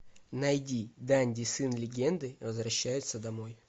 найди данди сын легенды возвращается домой